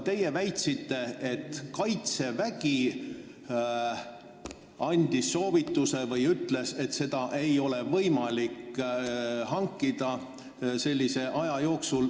Teie väitsite, et Kaitsevägi andis soovituse või ütles, et seda ei ole võimalik hankida sellise aja jooksul.